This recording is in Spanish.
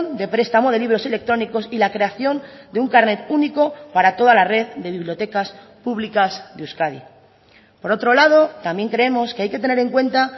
de prestamo de libros electrónicos y la creación de un carnet único para toda la red de bibliotecas públicas de euskadi por otro lado también creemos que hay que tener en cuenta